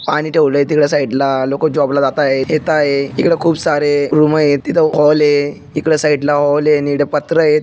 पाणी ठेवलय तिकड साइड ला लोक जॉब ला जात आहे येत आहे. इकड खूप सारे रूम आहेत तिथ हॉल आहे. इकड साइड ला हॉल आहे आणि पत्र आहे.